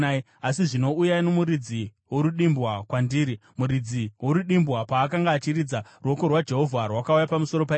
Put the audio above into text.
Asi zvino uyai nomuridzi worudimbwa kwandiri.” Muridzi worudimbwa paakanga achiridza, ruoko rwaJehovha rwakauya pamusoro paErisha,